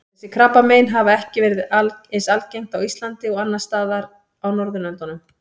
Þessi krabbamein hafa ekki verið eins algengt á Íslandi og annars staðar á Norðurlöndunum.